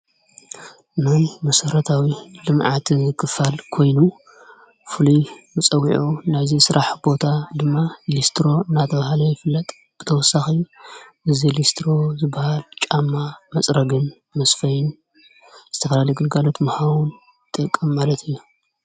ናይ መሰረታዊ ልምዓት ኮይኑ ፍሉይ መፀዊዑ ናዚ ስራሕ ቦታ ድማ ሊስትሮ ናተብሃለ ይፍለጥ ብተወሳኺ እዚ ሊስትሮ ዝበሃል ጫማ መፅረግን ምስፈይን ዝተፈላለየ ግልጋሎት ንምሃብ ዝጠቀም ማለት እዮ።